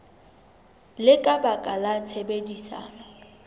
le ka baka la tshebedisano